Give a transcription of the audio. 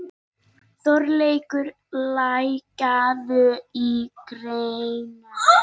Þorleikur, lækkaðu í græjunum.